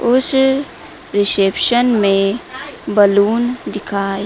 उस रिसेप्शन में बलून दिखाई--